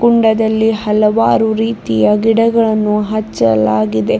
ಕುಂಡದಲ್ಲಿ ಹಲವಾರು ರೀತಿಯ ಗಿಡಗಳನ್ನು ಹಚ್ಚಲಾಗಿದೆ.